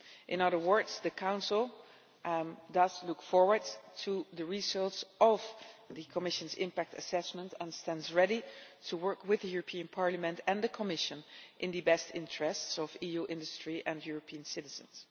In other words, the Council looks forward to the results of the Commission's impact assessment and stands ready to work with the European Parliament and the Commission in the best interests of EU industry and European citizens.